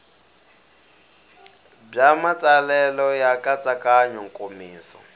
bya matsalelo ya nkatsakanyo nkomiso